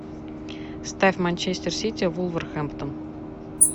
ставь манчестер сити вулверхэмптон